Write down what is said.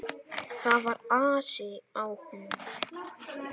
Það var asi á honum.